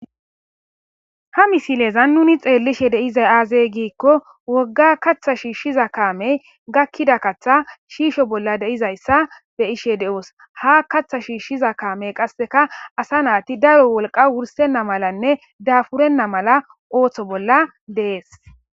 ha misilezan nuni xeellishe deizay aazey giikko wogga kaththa shiishshiza kaamey gakkida katha shiisho bolla deizayssa be ishe de7os ha kaththa shiishshiza kaamey qasseka asa naati daro wolqa wursenna malanne daafurenna mala ooththo bolla dees